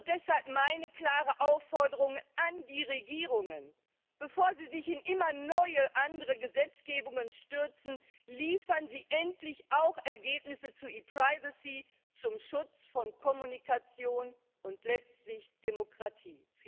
Deshalb meine klare Aufforderung an die Regierungen Bevor Sie sich in immer neue andere Gesetzgebungen stürzen, liefern Sie endlich auch Ergebnisse zu ePrivacy zum Schutz von Kommunikation und letztlich Demokratie!